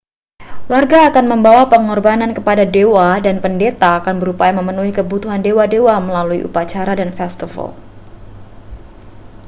warga akan membawa pengorbanan kepada dewa dan pendeta akan berupaya memenuhi kebutuhan dewa-dewa melalui upacara dan festival